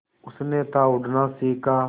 उसने था उड़ना सिखा